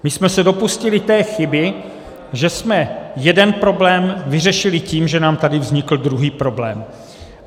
My jsme se dopustili té chyby, že jsme jeden problém vyřešili tím, že nám tady vznikl druhý problém.